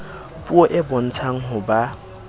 puo e bontshang ho ba